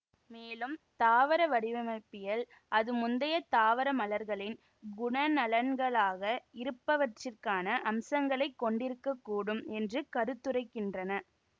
மேலும் தாவர வடிவமைப்பியல் அது முந்தைய தாவர மலர்களின் குணநலன்களாக இருப்பவற்றிற்கான அம்சங்களைக் கொண்டிருக்க கூடும் என்று கருத்துரைக்கின்றன